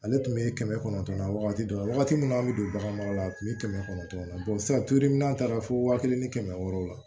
Ale tun bɛ kɛmɛ kɔnɔntɔn na wagati dɔ la wagati min na an bɛ don bagan mara la u bɛ kɛmɛ kɔnɔntɔn na sisan n'an taara fo waa kelen ni kɛmɛ wɔɔrɔw la